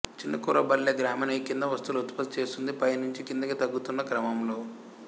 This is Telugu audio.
చిన్నకురబలపల్లె గ్రామీణ ఈ కింది వస్తువులు ఉత్పత్తి చేస్తోంది పై నుంచి కిందికి తగ్గుతున్న క్రమంలో